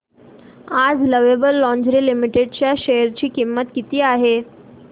आज lovable lingerie limited च्या share ची किंमत किती आहे